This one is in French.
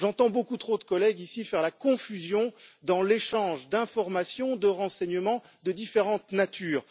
J'entends beaucoup trop de collègues, ici, faire une confusion entre l'échange d'informations et de renseignements de différentes natures.